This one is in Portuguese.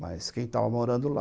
Mas quem estava morando lá,